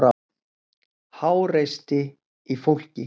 Háreysti í fólki.